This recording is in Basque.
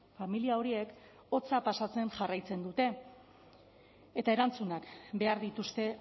familia horiek hotza pasatzen jarraitzen dute eta erantzunak behar dituzte